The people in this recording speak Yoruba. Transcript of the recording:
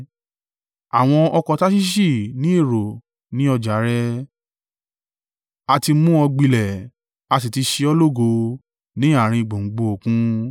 “ ‘Àwọn ọkọ̀ Tarṣiṣi ní èrò ní ọjà rẹ a ti mú ọ gbilẹ̀ a sì ti ṣe ọ́ lógo ní àárín gbùngbùn Òkun.